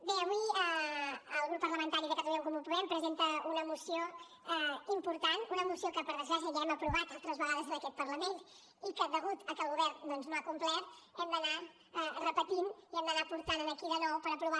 bé avui el grup parlamentari de catalunya en comú podem presenta una moció important una moció que per desgràcia ja hem aprovat altres vegades en aquest parlament i que degut a que el govern doncs no ha complert hem d’anar repetint i hem d’anar portant aquí de nou per aprovar